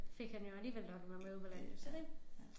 Fik han jo alligevel lokket mig med ud på landet så det